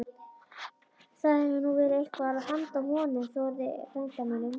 Það hefði nú verið eitthvað handa honum Þórði frænda mínum!